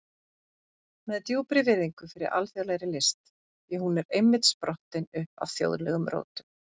Með djúpri virðingu fyrir alþjóðlegri list, því hún er einmitt sprottin upp af þjóðlegum rótum.